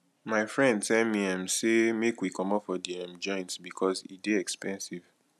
my friend tell me um sey make we comot for di um joint because e dey expensive